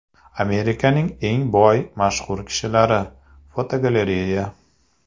Amerikaning eng boy mashhur kishilari (fotogalereya).